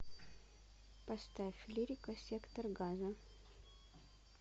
поставь лирика сектор газа